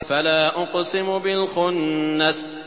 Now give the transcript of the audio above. فَلَا أُقْسِمُ بِالْخُنَّسِ